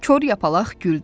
Kor yapalaq güldü.